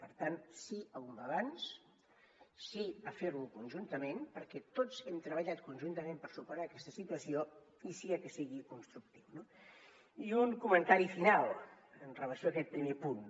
per tant sí a un balanç sí a fer lo conjuntament perquè tots hem treballat conjuntament per superar aquesta situació i sí a que sigui constructiu no i un comentari final en relació amb aquest primer punt